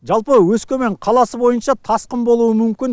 жалпы өскемен қаласы бойынша тасқын болуы мүмкін